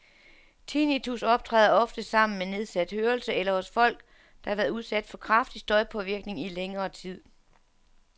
Tinnitus optræder oftest sammen med nedsat hørelse eller hos folk, der har været udsat for kraftig støjpåvirkning i længere tid.